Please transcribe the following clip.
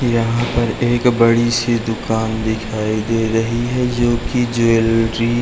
यहाँ पर एक बड़ी सी दुकान दिखाई दे रही है जो की ज्वेलरी --